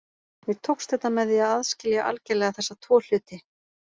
Mér tókst þetta með því að aðskilja algerlega þessa tvo hluti.